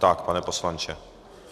Tak, pane poslanče.